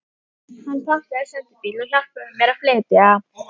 Hann pantaði sendibíl og hjálpaði mér að flytja.